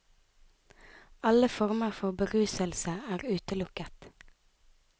Alle former for beruselse er utelukket.